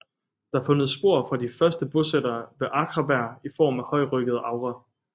Der er fundet spor fra de første bosættere ved Akraberg i form af højryggede agre